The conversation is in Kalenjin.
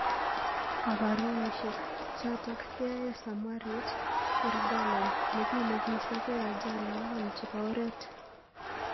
Kaparunosbek. chotok keyoe Samrawit Yirgalem nekile kisopei ajali ang'wan chepo oret